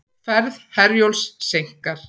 Ferð Herjólfs seinkar